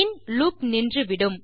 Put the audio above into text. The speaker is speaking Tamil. பின் லூப் நின்று விடும்